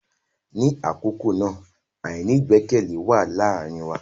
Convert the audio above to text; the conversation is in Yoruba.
Ni akọkọ na, aini igbẹkẹle wa laarin wa.